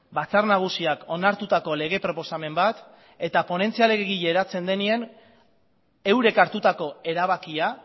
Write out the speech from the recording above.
batzar nagusiak onartutako lege proposamen bat eta ponentzia legegile eratzen denean eurek hartutako erabakia